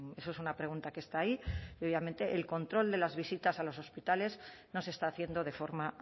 eso es una pregunta que está ahí y obviamente el control de las visitas a los hospitales no se está haciendo de forma